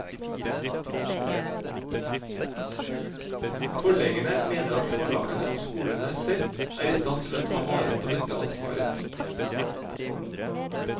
Forleggerne mener at forlagene og skolene selv er i stand til å ta vare på dette ansvaret.